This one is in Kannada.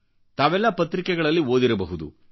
ತಾವೆಲ್ಲಾ ಪತ್ರಿಕೆಗಳಲ್ಲಿ ಓದಿರಬಹದು